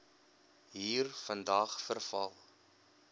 hier vandag veral